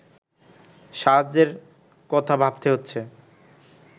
সাহায্যের কথা ভাবতে হচ্ছে